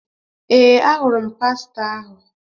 Ee, ahụrụ m pastọ ahụ.